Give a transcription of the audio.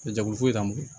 Jago foyi t'an bolo